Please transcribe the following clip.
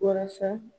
Walasa